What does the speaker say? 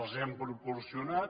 les hem proporcionat